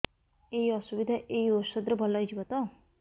ଏଇ ଅସୁବିଧା ଏଇ ଔଷଧ ରେ ଭଲ ହେଇଯିବ ତ